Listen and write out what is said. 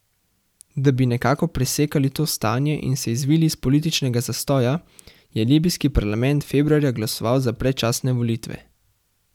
Da bi nekako presekali to stanje in se izvili iz političnega zastoja, je libijski parlament februarja glasoval za predčasne volitve.